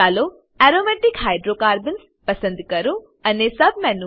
ચાલો aromatic hydrocarbons પસંદ કરો અને સબમેનું